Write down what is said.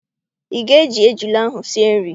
Ị ga- eji ejula ahụ sie nri?